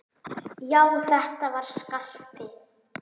Já, þetta var Skarpi!